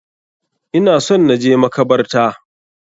Ina son na je makabarta.